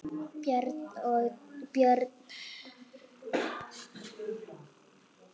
Björn Thors.